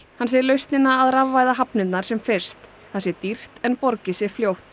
hann segir lausnina að rafvæða hafnirnar sem fyrst það sé dýrt en borgi sig fljótt